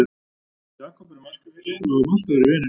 Við Jakob erum æskufélagar og höfum alltaf verið vinir.